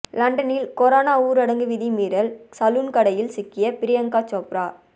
லண்டனில் கொரோனா ஊரடங்கு விதிமீறல் சலூன் கடையில் சிக்கிய பிரியங்கா சோப்ரா